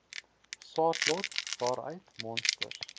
saadlot waaruit monsters